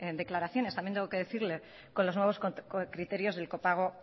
declaraciones también tengo que decirle con los nuevos criterios del copago